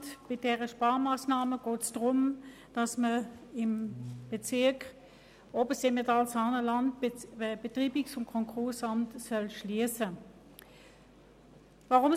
Bei dieser Sparmassnahme geht es darum, dass im Bezirk Obersimmental-Saanenland das Konkurs- und Betreibungsamt geschlossen werden soll.